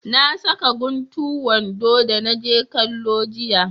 Na saka guntu wando da na je kwallo jiya